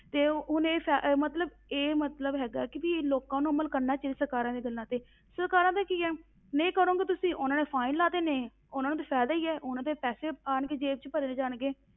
ਤੇ ਉਹਨੇ ਸੈ~ ਮਤਲਬ ਇਹ ਮਤਲਬ ਹੈਗਾ ਕਿ ਵੀ ਲੋਕਾਂ ਨੂੰ ਅਮਲ ਕਰਨਾ ਚਾਹੀਦਾ ਸਰਕਾਰਾਂ ਦੀਆਂ ਗੱਲਾਂ ਤੇ, ਸਰਕਾਰਾਂ ਦਾ ਕੀ ਹੈ, ਨਹੀਂ ਕਰੋਂਗੇ ਤੁਸੀਂ ਉਹਨਾਂ ਨੇ fine ਲਾ ਦੇਣੇ ਹੈਂ, ਉਹਨਾਂ ਨੂੰ ਤੇ ਫ਼ਾਇਦਾ ਹੀ ਹੈ, ਉਹਨਾਂ ਦੇ ਪੈਸੇ ਆਉਣਗੇ ਜੇਬ ਵਿੱਚ ਭਰੇ ਜਾਣਗੇ,